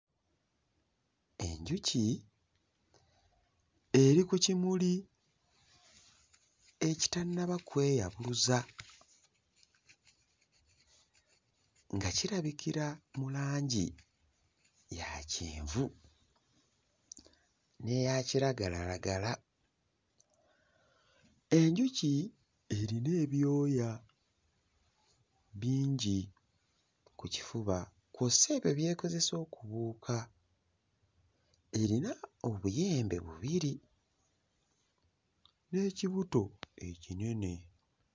Enjuki eri ku kimuli ekitannaba kweyabuluza nga kirabikira mu langi ya kyenvu n'eya kiragalalagala. Enjuki erina ebyoya bingi ku kifuba kw'ossa ebyo by'ekozesa okubuuka. Erina obuyembe bubiri n'ekibuto ekinene.